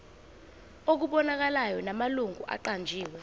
okubonakalayo namalungu aqanjiwe